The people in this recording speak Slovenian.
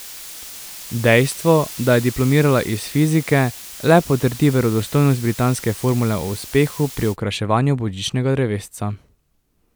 Dejstvo, da je diplomirala iz fizike, le potrdi verodostojnost britanske formule o uspehu pri okraševanju božičnega drevesca.